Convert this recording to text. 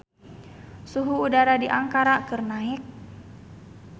Suhu udara di Ankara keur naek